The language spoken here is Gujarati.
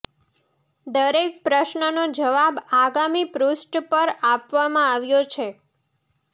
દરેક પ્રશ્નનો જવાબ આગામી પૃષ્ઠ પર આપવામાં આવ્યો છે